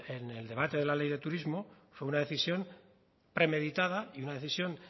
en el debate de la ley de turismo fue una decisión premeditada y una decisión